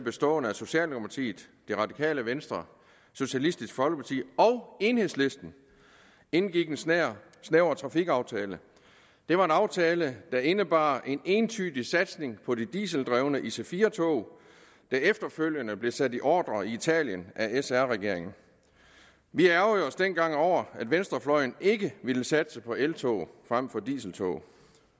bestående af socialdemokratiet radikale venstre socialistisk folkeparti og enhedslisten indgik en snæver snæver trafikaftale det var en aftale der indebar en entydig satsning på de dieseldrevne ic4 tog der efterfølgende blev sat i ordrer i italien af sr regeringen vi ærgrede os dengang over at venstrefløjen ikke ville satse på eltog frem for dieseltog